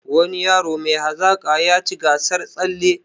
Wani yaro mai hazaka yaci gasar tsalle